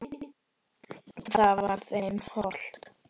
Það var þeim hollt.